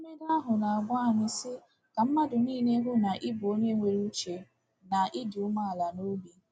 Edemede ahụ na-agwa anyị sị: ‘Ka mmadụ niile hụ na ị bụ onye nwere uche na ịdị umeala n’obi.’